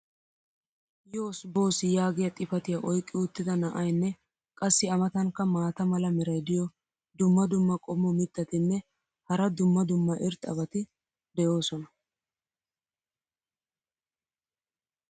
"yoss boss" yaagiyaa xifatiya oyqqi uttida na"aynne qassi a matankka maata mala meray diyo dumma dumma qommo mitattinne hara dumma dumma irxxabati de'oosona.